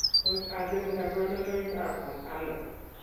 Tos achon kabarunaik ab Maternal ?